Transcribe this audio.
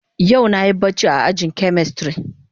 Yau na Yi barci a aji na chemistry.